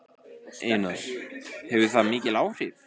Einar: Hefur það mikil áhrif?